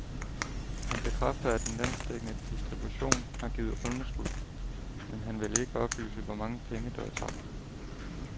Han bekræfter, at den landsdækkende distribution har givet underskud, men han vil ikke oplyse, hvor mange penge, der er tabt.